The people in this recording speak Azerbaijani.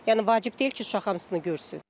Yəni vacib deyil ki, uşaq hamısını görsün.